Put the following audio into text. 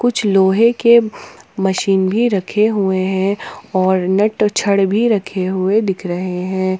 कुछ लोहे के मशीन भी रखे हुए हैं और नट और छड़ भी रखे हुए दिख रहे हैं।